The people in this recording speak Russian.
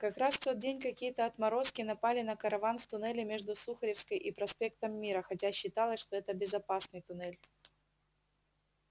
как раз в тот день какие-то отморозки напали на караван в туннеле между сухаревской и проспектом мира хотя считалось что это безопасный туннель